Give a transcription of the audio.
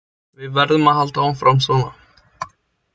Við verðum að halda áfram svona.